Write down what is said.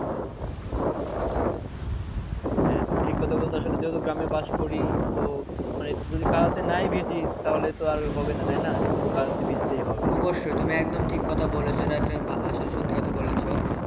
হ্যা তুমি ঠিক কথা বলছো আসলে যেহেতো গ্রামে বাস করি তো একটু কাঁদতে নাই ভিজে তা হলে তো আর হবে না তাই না একটু তো কাদা তে ভিজতেই হবে অবশ্যই তুমি একদম ঠিক কথা বলেছো এটা একটা আসলে সত্য কথা বলেছো।